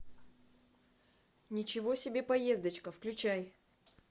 ничего себе поездочка включай